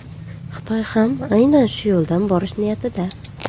Xitoy ham aynan shu yo‘ldan borish niyatida.